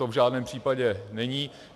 To v žádném případě není.